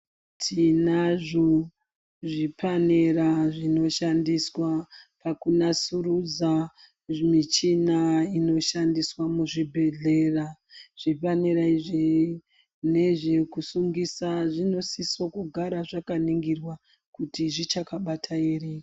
Tinazvo zvipanera zvinoshandiswa pakunasurudza zvimichina inoshandiswa muzvibhedhlera. Zvipanera izvi nezvekusungisa zvinosiso kugara zvakaningirwa kuti zvichakabata ere.